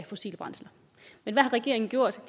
fossile brændsler men hvad har regeringen gjort